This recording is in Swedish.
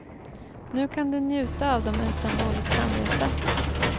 Nu kan du njuta av dem utan dåligt samvete.